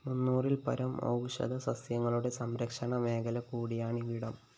മുന്നൂറില്‍പ്പരം ഔഷധസസ്യങ്ങളുടെ സംരക്ഷണ മേഖല കൂടിയാണിവിടം